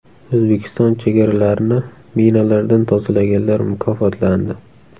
O‘zbekiston chegaralarini minalardan tozalaganlar mukofotlandi.